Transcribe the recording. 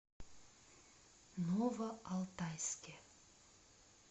новоалтайске